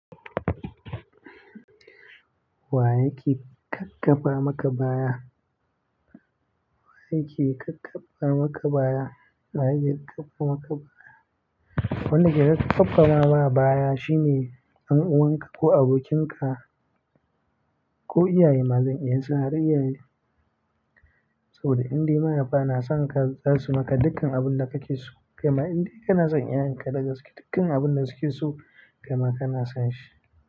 Wa yake ƙaƙƙafa maka baya? Wa yake ƙaƙƙara maka baya? Wa yake ƙaƙƙara maka baya? Wanda ke ƙaƙƙafa ma baya shine ɗan uwanka ko abokinka ko iyaye, mazan iya cewa har iyaye. Saboda indai mahaifa na san ka za su maka dukkan abin da kake so, kaima indai kana san iyayenka dagaske dukkan abun da suke so kaima kana san shi.